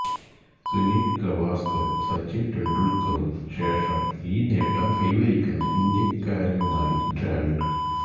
സുനിൽ ഗവാസ്കർക്കുംസച്ചിൻ തെണ്ടുൽക്കർക്കും ശേഷം ഈ നേട്ടം കൈവരിക്കുന്ന ഇന്ത്യക്കാരനുമായി ദ്രാവിഡ്